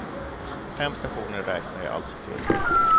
Fem stationer räknade jag alltså till.